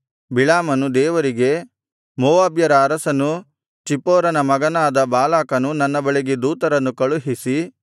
ಬಿಳಾಮನು ದೇವರಿಗೆ ಮೋವಾಬ್ಯರ ಅರಸನೂ ಚಿಪ್ಪೋರನ ಮಗನಾದ ಬಾಲಾಕನು ನನ್ನ ಬಳಿಗೆ ದೂತರನ್ನು ಕಳುಹಿಸಿ